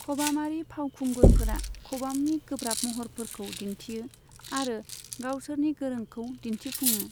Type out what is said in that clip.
खबामारि फावखुंगुरफोरा खबामनि गोब्राब महरफोरखौ दिनथियो आरो गावसोरनि गोरोंखौ दिनथिफुङो।